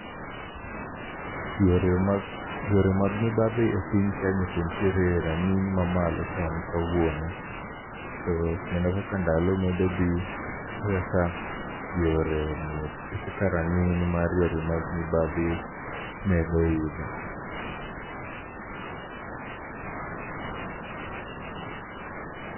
Yore mag, yore mag mibadhi e piny Kenya to ntiere rang'iny ma malo sani kawuono. To kendo kaka ndalo medo dhi, e kaka yore mek, e kaka rang'iny mar yore mag mibadhi medo idho.